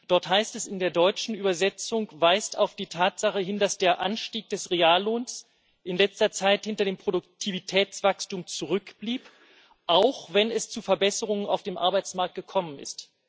Dort heißt es in der deutschen Übersetzung weist auf die Tatsache hin, dass der Anstieg des Reallohns in letzter Zeit hinter dem Produktivitätswachstum zurückblieb, auch wenn es zu Verbesserungen auf dem Arbeitsmarkt gekommen ist.